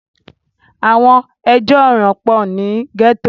àwọn ẹjọ́ ọ̀ràn pọ̀ ní gẹ́tò